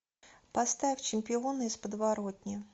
поставь чемпионы из подворотни